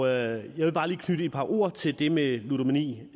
jeg vil bare lige knytte et par ord til det med ludomani